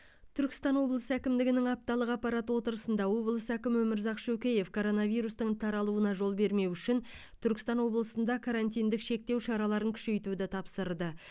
түркістан облысы әкімдігінің апталық аппарат отырысында облыс әкімі өмірзақ шөкеев коронавирустың таралуына жол бермеу үшін түркістан облысында карантиндік шектеу шараларын күшейтуді тапсырды